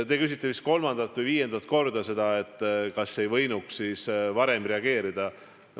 Te küsite vist kolmandat või viiendat korda seda, kas ei võinuks siis varem reageerida.